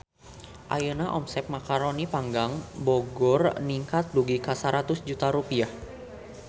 Ayeuna omset Macaroni Panggang Bogor ningkat dugi ka 100 juta rupiah